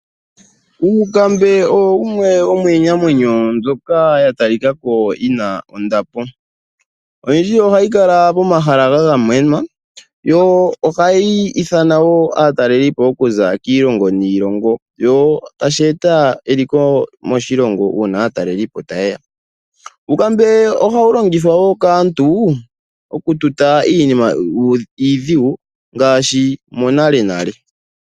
Uukambe owo wumwe womiinamwenyo mbyoka ya tali ka ko yina ondapo. Oyindji ohayi kala pomahala ga gamenwa, yo ohayi nana/ithana aataleli po ya za kiilongo niilongo yo tashi eta eliko moshilongo uuna aataleli po ta ye ya. Uukambe ohawu longithwa wo kaantu oku tuta iinima iidhigu ngaashi monalenale.